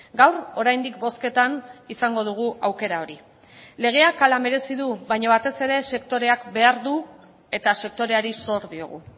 gaur oraindik bozketan izango dugu aukera hori legeak hala merezi du baina batez ere sektoreak behar du eta sektoreari zor diogu